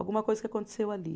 Alguma coisa que aconteceu ali.